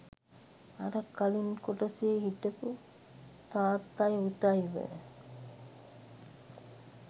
අර කලින් කොටසේ හිටපු තාත්තයි පුතයි ව